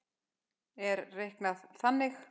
er reiknað þannig